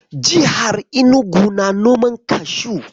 Jihar Inugu na noman kashu.